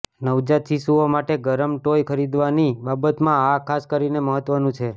નવજાત શિશુઓ માટે ગરમ ટોય ખરીદવાની બાબતમાં આ ખાસ કરીને મહત્વનું છે